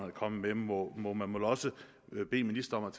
er kommet med må må man vel også bede ministeren